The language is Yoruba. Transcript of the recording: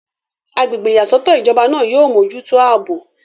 agbègbè ìyàsọ́tọ̀ ìjọba náà yóò mójútó àbò